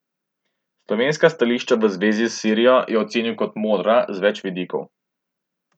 Slovenska stališča v zvezi s Sirijo je ocenil kot modra z več vidikov.